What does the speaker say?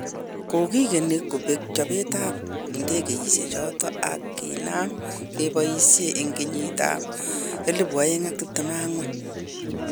Kogigeni kobeek chobet ab ndegeisiechoton ag kinam kepoisien en kenyit ab 2024.